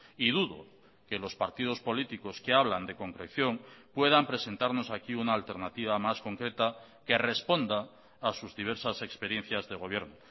y dudo que los partidos políticos que hablan de concreción puedan presentarnos aquí una alternativa más concreta que responda a sus diversas experiencias de gobierno